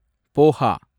poha